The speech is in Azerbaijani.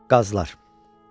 Qazlar.